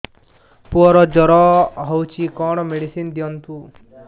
ପୁଅର ଜର ହଉଛି କଣ ମେଡିସିନ ଦିଅନ୍ତୁ